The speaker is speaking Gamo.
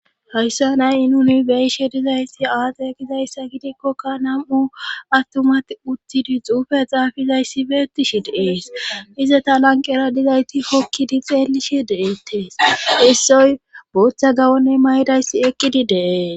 Hayssa nay i nuni beishe dizayssi aade gizayssa gidikkoka nam7u attumat uttidi xuufe xaafizayssi beettishi deees ize ta lanqera dizayti kokkidi xeelishe deeettees issoy bootha gawonne maydayssi eqqidi deees